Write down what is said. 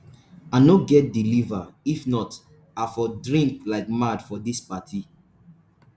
i no get the liver if not i for drink like mad for dis party.